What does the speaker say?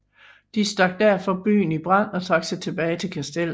De stak derfor byen i brand og trak sig tilbage til kastellet